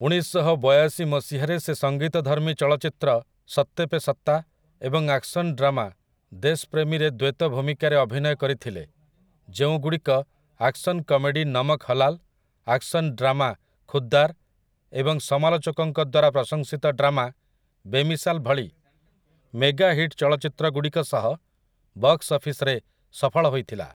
ଉଣେଇଶଶହବୟାଶି ମସିହାରେ ସେ ସଙ୍ଗୀତଧର୍ମୀ ଚଳଚ୍ଚିତ୍ର 'ସତ୍ତେ ପେ ସତ୍ତା' ଏବଂ ଆକ୍ସନ୍ ଡ୍ରାମା 'ଦେଶ୍ ପ୍ରେମୀ'ରେ ଦ୍ୱୈତ ଭୂମିକାରେ ଅଭିନୟ କରିଥିଲେ ଯେଉଁ ଗୁଡ଼ିକ action comedy 'Namak Halaal', action drama 'Khuddar' ଏବଂ ସମାଲୋଚକଙ୍କ ଦ୍ୱାରା ପ୍ରସଂଶିତ ଡ୍ରାମା 'ବେମିସାଲ୍' ଭଳି ମେଗା ହିଟ୍ ଚଳଚ୍ଚିତ୍ରଗୁଡ଼ିକ ସହ ବକ୍ସ୍ ଅଫିସ୍‌ରେ ସଫଳ ହୋଇଥିଲା ।